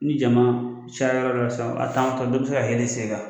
Ni jama cayara yɔrɔ dɔ la sisan a' taamatɔ dɔ bɛ se ka yɛlɛn i sen kan